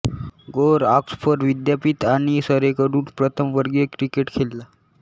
गोर ऑक्सफर्ड विद्यापीठ आणि सरेकडून प्रथमवर्गीय क्रिकेट खेळला